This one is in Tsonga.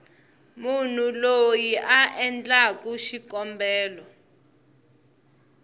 munhu loyi a endlaku xikombelo